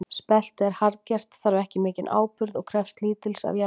Spelti er harðgert, þarf ekki mikinn áburð og krefst lítils af jarðveginum.